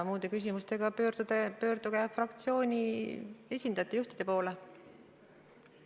Muude küsimustega pöörduge fraktsioonide juhtide või muude esindajate poole.